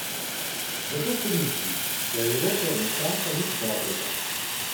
Zato se mi zdi, da Evrope ne čaka nič dobrega.